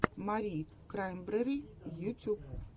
мари краймбрери ютюб